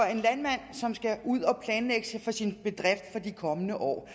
en landmand som skal planlægge for sin bedrift i de kommende år